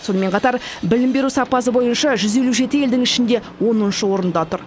сонымен қатар білім беру сапасы бойынша жүз елу жеті елдің ішінде оныншы орында тұр